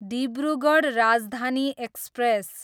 Dibrugarh Rajdhani express